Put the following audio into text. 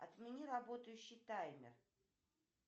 отмени работающий таймер